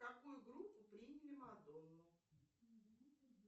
в какую группу приняли мадонну